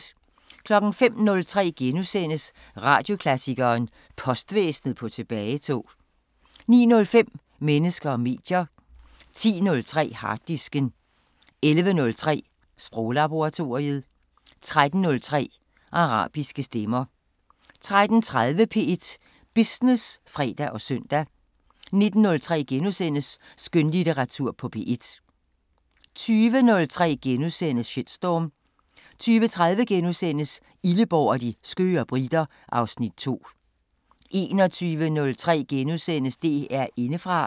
05:03: Radioklassikeren: Postvæsen på tilbagetog * 09:05: Mennesker og medier 10:03: Harddisken 11:03: Sproglaboratoriet 13:03: Arabiske Stemmer 13:30: P1 Business (fre og søn) 19:03: Skønlitteratur på P1 * 20:03: Shitstorm * 20:30: Illeborg og de skøre briter (Afs. 2)* 21:03: DR Indefra *